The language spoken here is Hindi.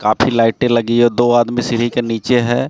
काफी लाइटें लगी है दो आदमी सीढ़ी के नीचे है।